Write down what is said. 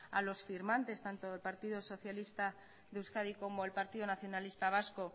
a los firmantes tanto del partido socialista de euskadi como el partido nacionalista vasco